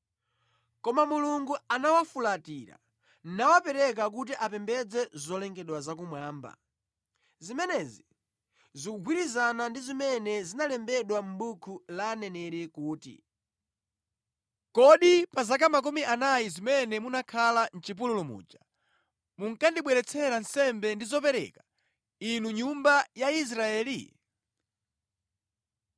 Koma Mulungu anawafulatira, nawapereka kuti apembedze zolengedwa zakumwamba. Zimenezi zikugwirizana ndi zimene zinalembedwa mʼbuku la aneneri kuti, “ ‘Kodi pa zaka makumi anayi zimene munakhala mʼchipululu muja munkandibweretsera nsembe ndi zopereka, inu nyumba ya Israeli?’